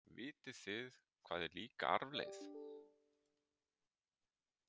Vitið þið hvað er líka arfleifð?